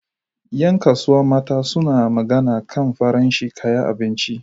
Yan kasuwa mata suna magana kan farashin kaya abinci